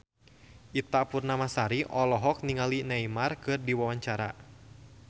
Ita Purnamasari olohok ningali Neymar keur diwawancara